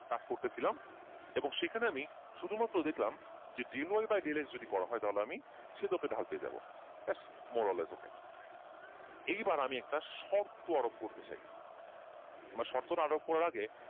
কাজ করতে ছিলাম এবং সেখানে আমি শুধু মাত্র দেখলাম যে del Y bye del X করা হয় তাহলে আমি সেদকের ঢাল পেয়ে যাবো ব্যাস মোরাল এইবার আমি একটা সর্ত আরোপ করতে চাই সর্ত আরোপ করার আগে,